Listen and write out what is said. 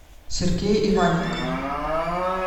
сергей иваненков